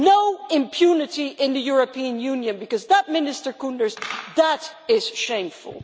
No impunity in the European Union, because that, Minister Koenders, that is shameful.